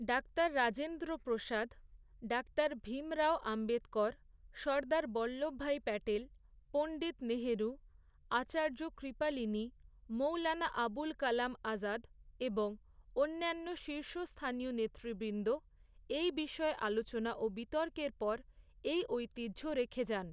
Doctor Rajendra Prasad, doctor Bhimrao Ambedkar, Sardar Vallabhbhai Patel, Pandit Nehru, Acharya Kripalani, Maulana Abul Kalam Azad এবং অন্যান্য শীর্ষস্থানীয় নেতৃবৃন্দ, এই বিষয়ে আলোচনা ও বিতর্কের পর, এই ঐতিহ্য রেখে যান।